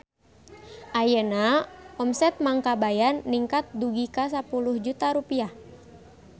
Ayeuna omset Mang Kabayan ningkat dugi ka 10 juta rupiah